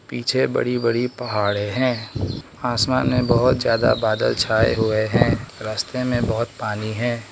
पीछे बड़ी बड़ी पहाड़े हैं आसमान में बहुत ज्यादा बादल छाए हुए हैं रस्ते में बहुत पानी है।